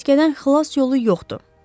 Çəyirtkədən xilas yolu yoxdur.